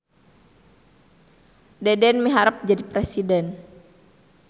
Deden miharep jadi presiden